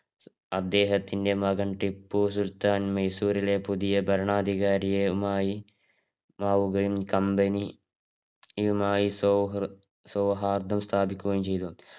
അദ്ദേഹത്തിന്റെ മകന് ടിപ്പു സുൽത്താൻ മൈസൂരിലെ പുതിയെ ഭരണാധികാരിയുമായി മാവുകയും company യുമായി സൗഹൃദം സ്ഥാപിക്കുകയും ചെയ്തു.